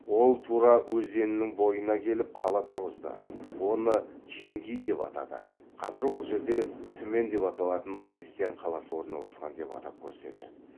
ол тұра өзенінің бойына келіп қала тұрғызды оны чимгий деп атады қазір ол жерде түмен деп аталатын христиан қаласы орналасқан деп атап көрсетеді